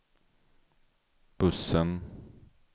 bussen